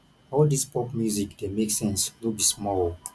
all this pop music dey make sense no be small o